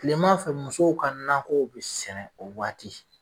kile ma fɛ musow ka nakɔw be sɛnɛ o waati